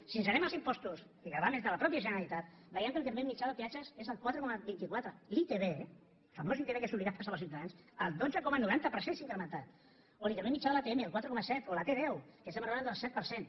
si ens n’anem als impostos i gravàmens de la mateixa generalitat veiem que l’increment mitjà de peatges és el quatre coma vint quatre la itv la famosa itv que és obligada per als ciutadans el dotze coma noranta per cent s’ha incrementat o l’increment mitjà de l’atm el quatre coma set o la t deu que estem enraonant del set per cent